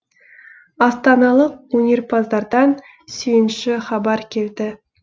астаналық өнерпаздардан сүйінші хабар келді